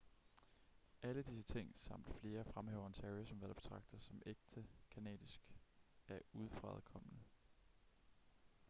alle disse ting samt flere fremhæver ontario som hvad der betragtes som ægte canadisk af udefrakommende